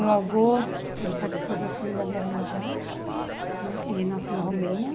Meu avô ele participou da Segunda Guerra Mundial e nasceu na Romênia.